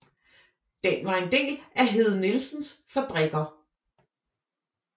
Den var en del af Hede Nielsens Fabrikker